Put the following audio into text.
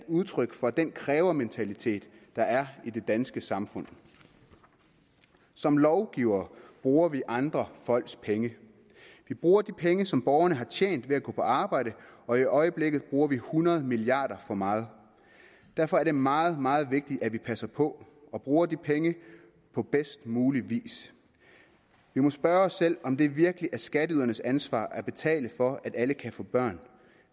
udtryk for den krævementalitet der er i det danske samfund som lovgivere bruger vi andre folks penge vi bruger de penge som borgerne har tjent ved at gå på arbejde og i øjeblikket bruger vi hundrede milliard kroner for meget derfor er det meget meget vigtigt at vi passer på og bruger de penge på bedst mulig vis vi må spørge os selv om det virkelig er skatteydernes ansvar at betale for at alle kan få børn